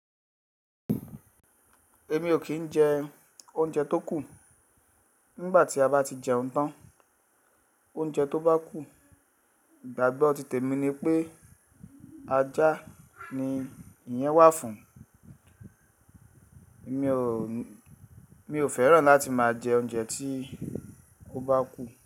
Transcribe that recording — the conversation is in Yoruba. Èmi ò kì í jẹ oúnjẹ tó kù. Nígbà tí a bá ti jẹun tán, oúnjẹ tó bá kù, ìgbàgbọ́ òtítẹ mi ni pé ajá ni ìyẹn wà fún. Mi ò, mi ò fẹ́ràn láti máa jẹ oúnjẹ tí ò bá kù.